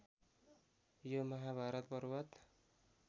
यो महाभारत पर्वत